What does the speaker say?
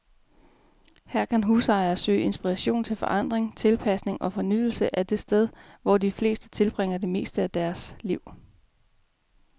Her kan husejere søge inspiration til forandring, tilpasning og fornyelse af det sted, hvor de fleste tilbringer det meste af deres liv.